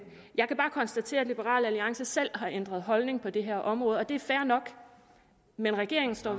jeg kan bare konstatere at liberal alliance selv har ændret holdning på det her område og det er fair nok men regeringen står